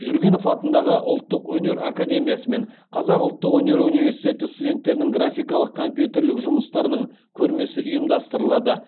жүргенов атындағы ұлттық өнер академиясы мен қазақ ұлттық өнер университеті студенттерінің графикалық компьютерлік жұмыстарының көрмесі ұйымдастырылады